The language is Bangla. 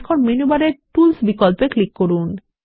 এখন মেনু বারের টুলস বিকল্পে ক্লিক করুন